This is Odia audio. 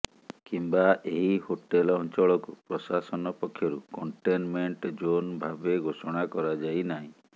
କିମ୍ବା ଏହି ହୋଟେଲ ଅଂଚଳକୁ ପ୍ରଶାସନ ପକ୍ଷରୁ କଂଟେନମେଂଟ ଯୋନ ଭାବେ ଘୋଷଣା କରାଯାଇନାହିଁ